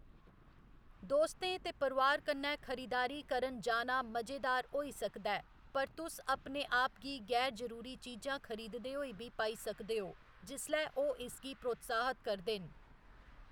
दोस्तें ते परोआर कन्नै खरीदारी करन जाना मजेदार होई सकदा ऐ, पर तुस अपने आप गी गैर जरूरी चीजां खरीददे होई बी पाई सकदे ओ जिसलै ओह्‌‌ इसगी प्रोत्साहत करदे न।